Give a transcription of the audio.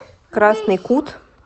красный кут